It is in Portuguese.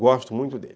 Gosto muito dele.